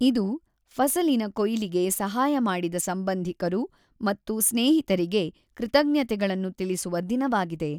ಇದು, ಫಸಲಿನ ಕೊಯ್ಲಿಗೆ ಸಹಾಯ ಮಾಡಿದ ಸಂಬಂಧಿಕರು ಮತ್ತು ಸ್ನೇಹಿತರಿಗೆ ಕೃತಜ್ಞತೆಗಳನ್ನು ತಿಳಿಸುವ ದಿನವಾಗಿದೆ.